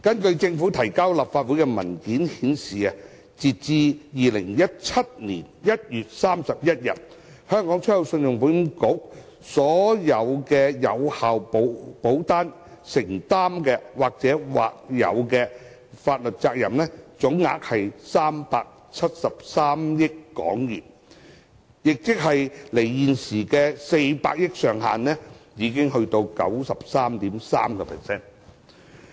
政府提交立法會的文件顯示，截至2017年1月31日，信保局所有有效保單承擔的或有法律責任總額約為373億港元，亦即為現時400億元上限的 93.3%。